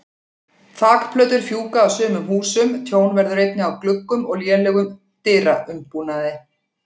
Þakplötur fjúka af sumum húsum, tjón verður einnig á gluggum og lélegum dyraumbúnaði.